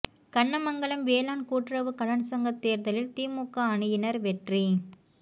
கண்ணமங்கலம் வேளாண் கூட்டுறவு கடன் சங்கத் தோ்தலில் திமுக அணியினா் வெற்றி